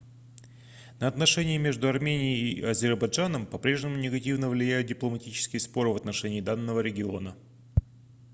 на отношения между арменией и азербайджаном по-прежнему негативно влияют дипломатические споры в отношении данного региона